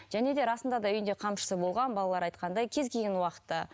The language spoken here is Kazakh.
және де расында да үйінде қамшысы болған балалар айтқандай кез келген уақытта